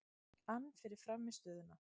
ann fyrir frammistöðuna.